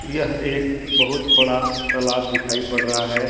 यह एक बहुत बड़ा तालाब दिखाई पड़ रहा है।